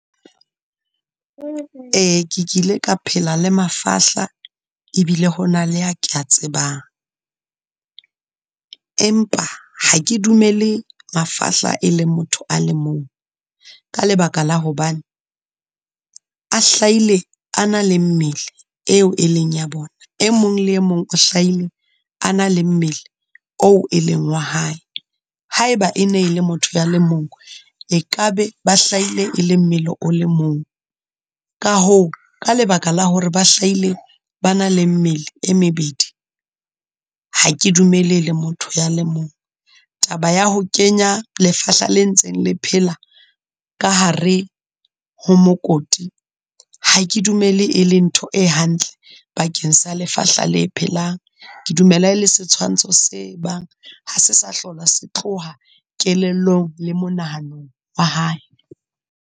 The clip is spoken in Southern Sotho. Ee, ke kile ka phela le mafahla e bile ho na le a ke a tsebang, empa ha ke dumele mafahla e le motho a le mong, ka lebaka la hobane a hlaile a na le mmele eo e leng ya bona. E mong le e mong o hlaile a na le mmele oo e leng wa hae, ha e ba e ne le motho ya le mong, e ka be ba hlaile e le mmele o le mong, ka hoo, ka lebaka la hore ba hlaile ba na le mmele e mebedi. Ha ke dumele e le motho ya le mong. Taba ya ho kenya lefahla le ntseng le phela ka hare ho mokoti, ha ke dumele e le ntho e hantle bakeng sa lefahla la e phelang, ke dumela le setshwantsho se bang ha se sa hlola se tloha kelellong le monahanong wa hae.